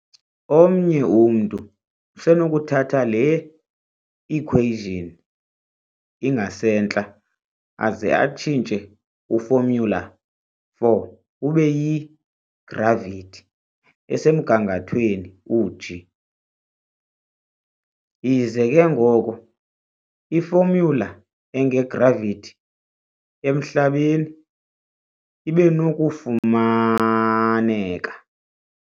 Omnye umntu usenokuthatha le-equation ingasentla aze atshintshe u-formula_4 ube yi-gravity "esemgangathweni u-g", ize ke ngoko i-formula enge-gravity emhlabeni ibenokufumaneka.